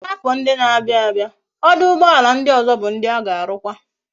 Na afo ndi na abia abia, oduugboala ndi ozo bu ndi a ga arukwa